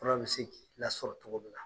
Fura be se k'i lasɔrɔ cogo min na.